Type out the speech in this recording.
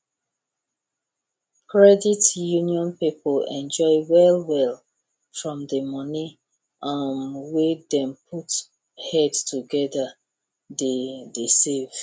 credit union people enjoy well well from the money um wey them put head together dey dey save